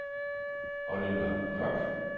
Oliver Mørch